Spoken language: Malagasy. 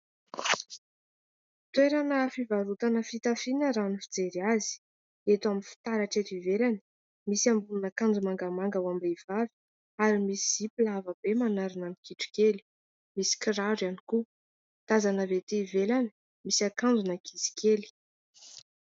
Toerana fivarotana fitafiana raha ny fijery azy, eto amin'ny fitaratra eto ivelany, misy ambonin'akanjo mangamanga ho am-behivavy ary misy zipo lava be manarona ny kitro kely, misy kiraro ihany koa tazana avy ety ivelany, misy akanjon'ankizy kely.